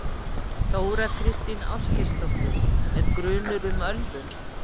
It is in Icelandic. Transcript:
Þóra Kristín Ásgeirsdóttir: Er grunur um ölvun?